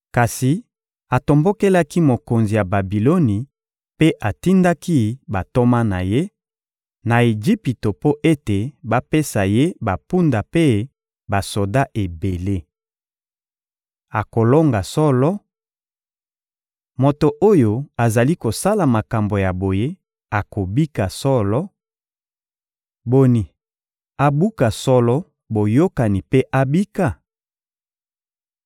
Kasi atombokelaki mokonzi ya Babiloni mpe atindaki bantoma na ye, na Ejipito mpo ete bapesa ye bampunda mpe basoda ebele. Akolonga solo? Moto oyo azali kosala makambo ya boye akobika solo? Boni, abuka solo boyokani mpe abika?